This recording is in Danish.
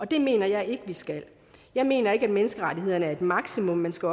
det mener jeg ikke vi skal jeg mener ikke at menneskerettighederne er et maksimum man skal